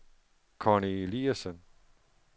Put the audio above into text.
Conny Eliasen